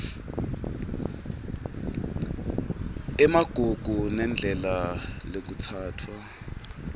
emagugu nendlela lekutsatfwa